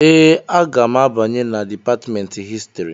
Ee, aga m abanye na Dipatmentị Histrị